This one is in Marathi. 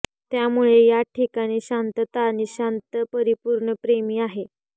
त्यामुळे या ठिकाणी शांतता आणि शांत परिपूर्ण प्रेमी आहे